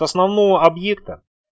основного объекта